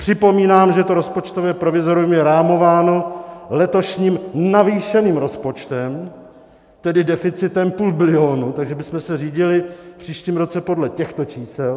Připomínám, že to rozpočtové provizorium je rámováno letošním navýšeným rozpočtem, tedy deficitem půl bilionu, takže bychom se řídili v příštím roce podle těchto čísel.